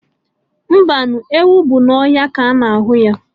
Mbanụ, enwe bụ na ọhịa ka ana ahụ ya